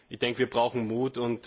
Ich denke, wir brauchen Mut